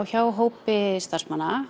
hjá hópi starfsmanna